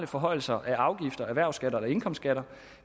forhøjelser af afgifter erhvervsskatter eller indkomstskatter